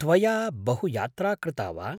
त्वया बहु यात्रा कृता वा?